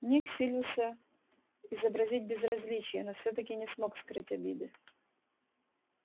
ник силился изобразить безразличие но всё-таки не смог скрыть обиды